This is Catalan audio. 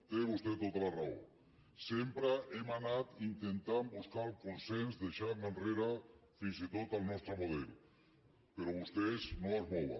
té vostè tota la raó sempre hem anat intentant buscar el consens i deixar enrere fins i tot el nostre model però vostès no es mouen